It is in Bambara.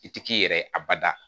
I ti k'i yɛrɛ ye abada